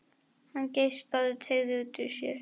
Hann geispaði og teygði úr sér.